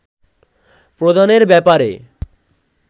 প্রদানের ব্যাপারে